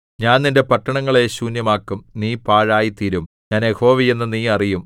ഞാൻ നിന്റെ പട്ടണങ്ങളെ ശൂന്യമാക്കും നീ പാഴായിത്തീരും ഞാൻ യഹോവയെന്ന് നീ അറിയും